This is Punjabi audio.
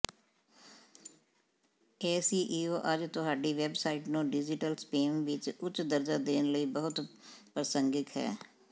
ਐਸਈਓ ਅੱਜ ਤੁਹਾਡੀ ਵੈੱਬਸਾਈਟ ਨੂੰ ਡਿਜੀਟਲ ਸਪੇਸ ਵਿੱਚ ਉੱਚ ਦਰਜਾ ਦੇਣ ਲਈ ਬਹੁਤ ਪ੍ਰਸੰਗਿਕ ਹੈ